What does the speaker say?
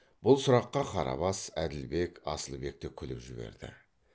бұл сұраққа қарабас әділбек асылбек те күліп жіберді